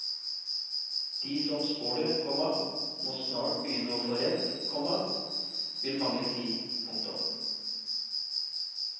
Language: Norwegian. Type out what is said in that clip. De som spår det, komma må snart begynne å få rett, komma vil mange si. punktum